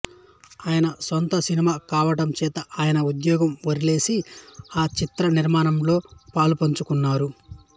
ఆయన సొంత సినిమా కావడ చేత ఆయన ఉద్యోగం వరిలేసి ఆ చిత్రనిర్మాణంలో పాలుపంచుకున్నారు